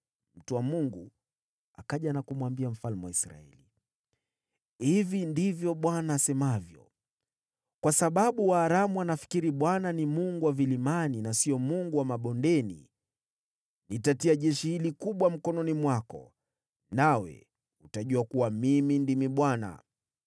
Mtu wa Mungu akaja na kumwambia mfalme wa Israeli, “Hivi ndivyo Bwana asemavyo: ‘Kwa sababu Waaramu wanafikiri Bwana ni Mungu wa vilimani na sio Mungu wa mabondeni, nitatia jeshi hili kubwa mkononi mwako, nawe utajua kuwa mimi ndimi Bwana .’”